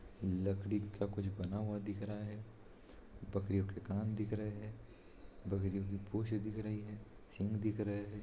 लकड़ी का कुछ बना हुआ दिख रहा है बकरियों के कान दिख रहे है बकरियों की पूछ दिख रही है सिंघ दिख रही है।